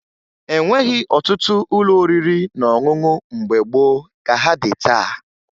E nweghi ọtụtụ ụlọ oriri na ọṅụṅụ mgbe gboo ka ha dị taa